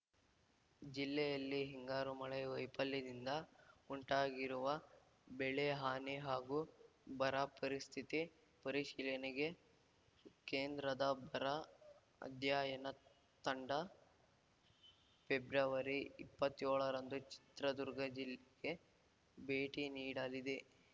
ಜಿಲ್ಲೆಯಲ್ಲಿ ಹಿಂಗಾರು ಮಳೆ ವೈಫಲ್ಯದಿಂದ ಉಂಟಾಗಿರುವ ಬೆಳೆ ಹಾನಿ ಹಾಗೂ ಬರ ಪರಿಸ್ಥಿತಿ ಪರಿಶೀಲನೆಗೆ ಕೇಂದ್ರದ ಬರ ಅಧ್ಯಯನ ತಂಡ ಪೆಬ್ರವರಿಇಪ್ಪತ್ಯೋಳರಂದು ಚಿತ್ರದುರ್ಗ ಜಿಲ್ಲೆಗೆ ಭೇಟಿ ನೀಡಲಿದೆ